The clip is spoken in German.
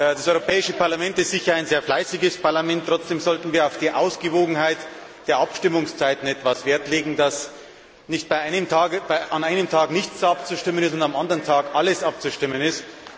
Das Europäische Parlament ist sicher ein sehr fleißiges Parlament, trotzdem sollten wir auf die Ausgewogenheit der Abstimmungszeiten etwas Wert legen, dass nicht an einem Tag nichts abzustimmen und am anderen Tag alles abzustimmen ist.